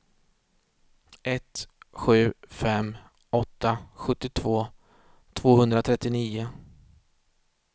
ett sju fem åtta sjuttiotvå tvåhundratrettionio